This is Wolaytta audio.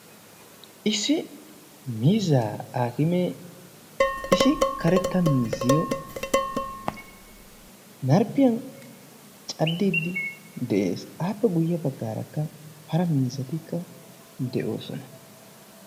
issi miizzaa aakimee issi karetta mizziyo narppiyan caddiiddi de7ees. aappe guyye baggaarakka hara miizzatikka de7oosona.